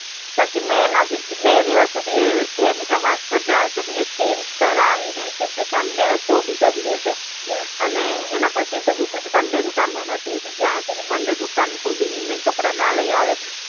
પછી મેં એનાથી બે દિવસ સુધી એ વાત પર જ્યાં સુધી એ change કરાવીને કેમ કે sunday હતો બીજા દિવસે અને એના પછી તો sunday દુકાન બંધ હતી જ્યાં સુધી monday દુકાન ખોલી કપડાના લઈ આવે